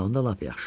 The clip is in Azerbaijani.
Hə, onda lap yaxşı.